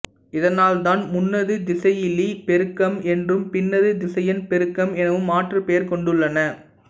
இதனால் தான் முன்னது திசையிலிப் பெருக்கம் என்றும் பின்னது திசையன் பெருக்கம் எனவும் மாற்றுப் பெயர் கொண்டுள்ளன